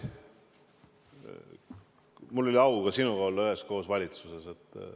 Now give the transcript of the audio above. Mul oli au ka sinuga üheskoos valitsuses olla.